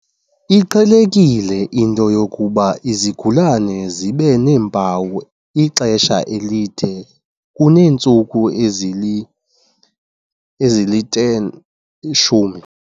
Iqhelekile into yokuba izigulana zibe neempawu ixesha elide kuneentsuku ezili-10.